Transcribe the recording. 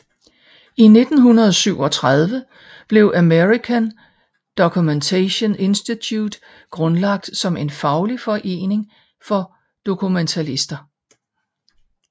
I 1937 blev American Documentation Institute grundlagt som en faglig forening for dokumentalister